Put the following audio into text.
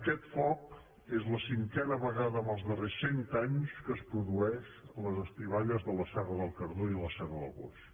aquest foc és la cinquena vegada en els darrers cent anys que es produeix a les estiballes de la serra del cardó i la serra del boix